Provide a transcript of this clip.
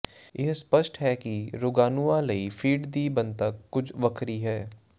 ਇਹ ਸਪੱਸ਼ਟ ਹੈ ਕਿ ਰੋਗਾਣੂਆਂ ਲਈ ਫੀਡ ਦੀ ਬਣਤਰ ਕੁਝ ਵੱਖਰੀ ਹੈ